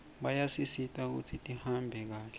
bayasisita kutsi tihambe kahle